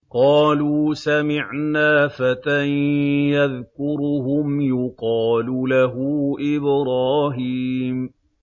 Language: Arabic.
قَالُوا سَمِعْنَا فَتًى يَذْكُرُهُمْ يُقَالُ لَهُ إِبْرَاهِيمُ